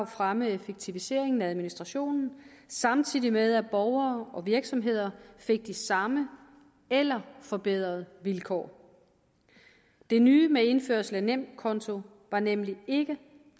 fremme effektiviseringen af administrationen samtidig med at borgere og virksomheder fik de samme eller forbedrede vilkår det nye med indførelse af nemkonto var nemlig ikke